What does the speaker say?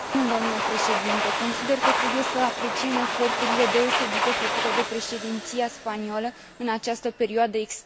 Consider că trebuie să apreciem eforturile deosebite făcute de președinția spaniolă în această perioadă extrem de dificilă.